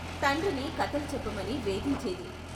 తండ్రిని కథలు చెప్పమని వేధించేది.